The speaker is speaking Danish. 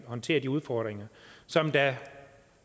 håndtere de udfordringer som der